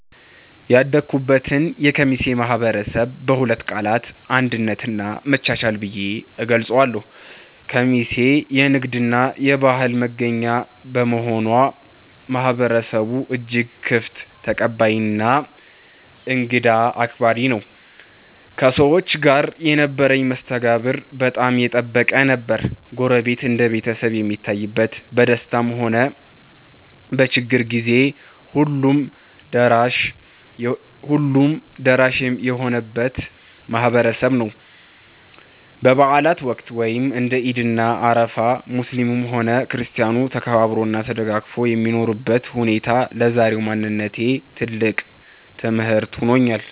ያደኩበትን የኬሚሴ ማህበረሰብ በሁለት ቃላት "አንድነት" እና "መቻቻል" ብዬ እገልጸዋለሁ። ኬሚሴ የንግድና የባህል መገናኛ በመሆኗ፣ ማህበረሰቡ እጅግ ክፍት፣ ተቀባይና እንግዳ አክባሪ ነው። ከሰዎች ጋር የነበረኝ መስተጋብር በጣም የጠበቀ ነበር። ጎረቤት እንደ ቤተሰብ የሚታይበት፣ በደስታም ሆነ በችግር ጊዜ ሁሉም ደራሽ የሚሆንበት ማህበረሰብ ነው። በበዓላት ወቅት (እንደ ዒድ እና አረፋ) ሙስሊሙም ሆነ ክርስቲያኑ ተከባብሮና ተደጋግፎ የሚኖርበት ሁኔታ ለዛሬው ማንነቴ ትልቅ ትምህርት ሆኖኛል።